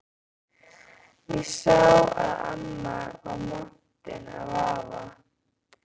Ég sá að amma var montin af afa.